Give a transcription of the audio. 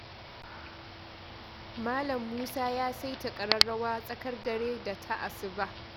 Malam Musa ya saita ƙararrawa tsakar dare da ta asuba.